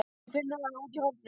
Hún finnur hana úti í horni.